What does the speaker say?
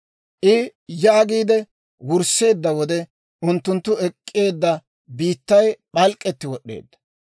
I yaagiide wursseedda wode, unttunttu ek'k'eedda biittay p'alk'k'etti wod'd'eedda.